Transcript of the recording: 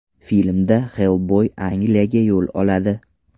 Filmda Xellboy Angliyaga yo‘l oladi.